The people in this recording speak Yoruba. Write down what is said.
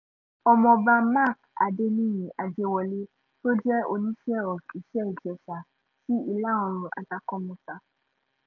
ọmọọba mark adẹniyí àjẹwọ́lẹ̀ tó jẹ́ oníṣẹ́ of iṣẹ́-ìjẹsà ti ìlà oòrùn àtàkúnmọ́sá